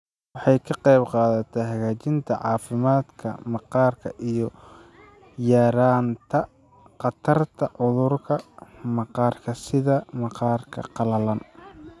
Waxay ka qaybqaadataa hagaajinta caafimaadka maqaarka iyo yaraynta khatarta cudurrada maqaarka sida maqaarka qalalan.